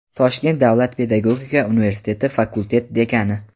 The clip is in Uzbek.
Toshkent davlat pedagogika universiteti fakultet dekani;.